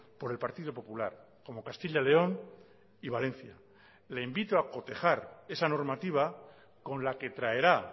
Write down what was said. por el partido popular como castilla león y valencia le invito a cotejar esa normativa con la que traerá